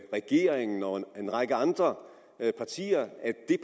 regeringen og en række andre partier